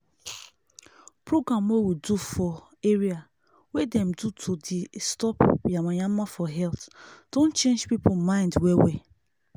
program wey we do for area wey dem do to deh stop yamayama for health don change people mind well well